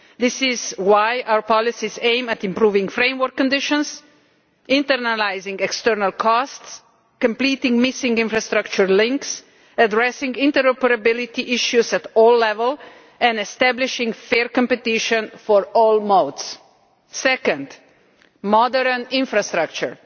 This is why our policies aim at improving framework conditions, internalising external costs, completing missing infrastructure links, addressing interoperability issues at all levels, and establishing fair competition for all modes. Second modern infrastructure.